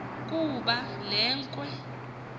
kuba le nkwe